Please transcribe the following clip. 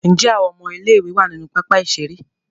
Njé Àwọn ọmọ ilé ìwé wá nínú pápá ìṣeré.?